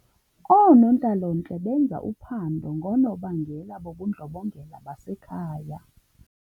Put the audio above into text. Oonontlalontle benza uphando ngoonobangela bobundlobongela basekhaya.